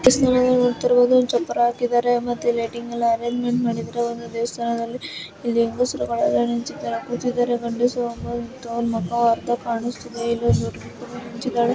ನೀವ್ ನೋಡತಾ ಇರ್ಬಹುದು ಚಪ್ಪರ ಹಾಕಿದ್ದಾರೆ ಇಲ್ಲಿ ಲೈಟಿಂಗ್ ಎಲ್ಲಾ ಅರಂಜ್ಮೆಂಟ್ ಮಾಡಿದ್ದಾರೆ ಮತ್ತೆ ದೇವಸ್ಥಾನದಲ್ಲಿ ಇಲ್ಲಿ ಹೆಂಗಸರು ಒಳಗಡೆ ಕೂತಿದ್ದಾರೆ ತುಂಬಾ ಗಂಡಸರು ಮುಖ ಅರ್ಧ ಕಾಣಿಸುತ್ತಿದೆ ಚಿತ್ರ --